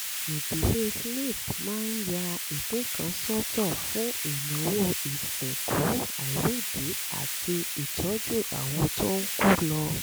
ìdílé smith máa ń ya ìpín kan sọ́tọ̀ fún ìnáwó ìsìnkú àìrídìí àti ìtọ́jú àwọn tó ń kú lọ